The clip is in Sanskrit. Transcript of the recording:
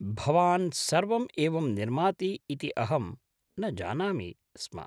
भवान् सर्वम् एवं निर्माति इति अहं न जानामि स्म।